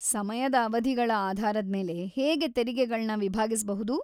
ಸಮಯದ ಅವಧಿಗಳ ಆಧಾರದ್ಮೇಲೆ ಹೇಗೆ ತೆರಿಗೆಗಳನ್ನ ವಿಭಾಗಿಸ್ಬಹುದು?